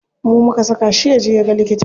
Mu muka saka shi yaje yaga likita.